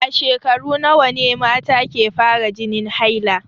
A shekaru nawa ne mata ke fara jinin haila.